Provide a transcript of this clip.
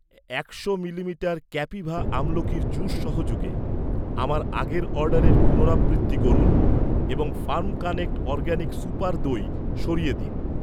একশো মিলিমিটার ক্যাপিভা আমলোকির জুস সহযোগে আমার আগের অর্ডারের পুনরাবৃত্তি করুন এবং ফার্ম কানেক্ট অরগ্যানিক সুপার দই সরিয়ে দিন।